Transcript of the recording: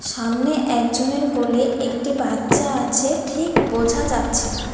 সামনে একজনের কোলে একটি বাচ্চা আছে ঠিক বোঝা যাচ্ছে না।